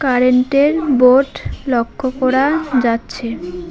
কারেন্টের বোর্ড লক্ষ্য করা যাচ্ছে।